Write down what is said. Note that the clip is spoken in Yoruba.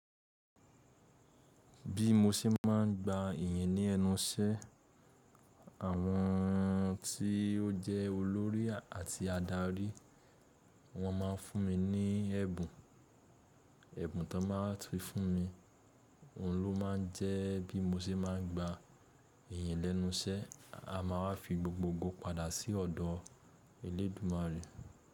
Bí mo ṣe máà ń gba ìyìn ni ẹ́nu iṣẹ́. Àwọn tí ó jẹ́ olórí àti adarí wọ́n máa ń fún mi ní ẹ̀bùn. Ẹ̀bùn tí wọ́n máa ń fi fún mi, òun ló máa ń jẹ́ bí mo ṣe máa ń gba ìyìn lẹ́nu iṣẹ́. A máa wa fi gbogbo ogo padà sí ọ̀dọ̀ Elédùmarè.